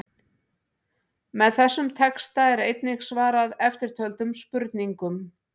Með þessum texta er einnig svarað eftirtöldum spurningum: